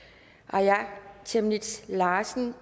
aaja chemnitz larsen